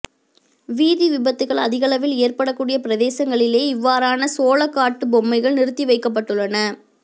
வீதி விபத்துகள் அதிகளவில் ஏற்படக்கூடிய பிரதேசங்களிலேயே இவ்வாறான சோளக்காட்டு பொம்மைகள் நிறுத்திவைக்கப்பட்டுள்ளன